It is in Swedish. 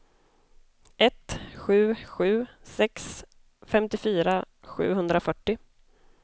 ett sju sju sex femtiofyra sjuhundrafyrtio